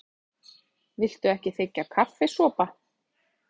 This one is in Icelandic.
Viltu ekki þiggja kaffisopa?